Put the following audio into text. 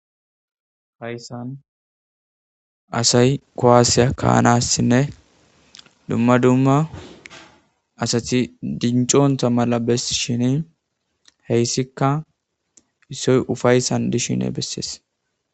Haysan asay kuwasiya ka'anasne duma duma asati dinc'onta mala besishini heysika isoy ufaysan dishen beses.